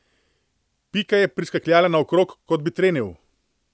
Pika je priskakljala naokrog, kot bi trenil.